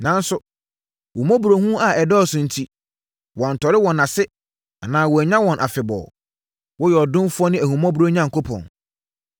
Nanso, wo mmɔborɔhunu a ɛdɔɔso enti, woantɔre wɔn ase anaa woannyaa wɔn afebɔɔ. Woyɛ ɔdomfoɔ ne ahummɔborɔ Onyankopɔn.